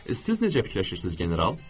Siz necə fikirləşirsiniz general?